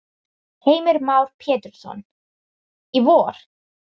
Heimir Már Pétursson: Í vor?